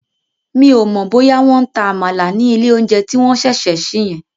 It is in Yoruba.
Mi ò mọ̀ bóyá wọ́n ń ta Àmàlà ní ilé oúnjẹ tí wọ́n ṣẹ̀ṣẹ̀ sí yẹn